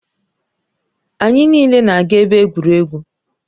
Anyị niile na-aga ebe egwuregwu.